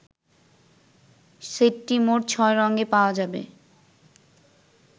সেটটি মোট ছয় রঙে পাওয়া যাবে